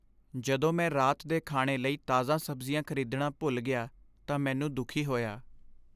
ਜਦੋਂ ਮੈਂ ਰਾਤ ਦੇ ਖਾਣੇ ਲਈ ਤਾਜ਼ਾ ਸਬਜ਼ੀਆਂ ਖ਼ਰੀਦਣਾ ਭੁੱਲ ਗਿਆ ਤਾਂ ਮੈਨੂੰ ਦੁਖੀ ਹੋਇਆ।